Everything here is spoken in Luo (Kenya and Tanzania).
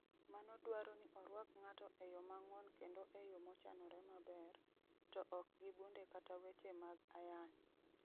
Mano dwaro ni orwak ng'ato e yo mang'won kendo e yo mochanore maber, to ok gi bunde kata weche mag ayany.